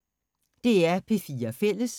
DR P4 Fælles